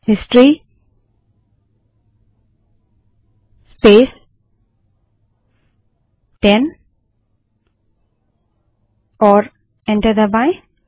history space 10 type करें और enter दबायें